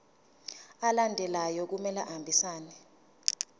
alandelayo kumele ahambisane